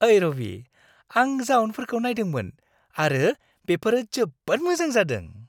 ओइ रबि, आं जाउनफोरखौ नायदोंमोन आरो बेफोर जोबोद मोजां जादों।